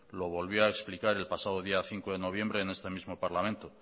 lo volvió a explicar el pasado día cinco de noviembre en este mismo parlamento